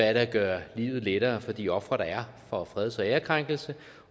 at gøre livet lettere for de ofre der er for freds og ærekrænkelse